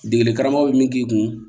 Degeli karamɔgɔ bɛ min k'i kun